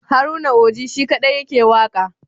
Haruna Oji shi kaɗai yake waƙa.